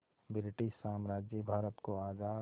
British साम्राज्य भारत को आज़ाद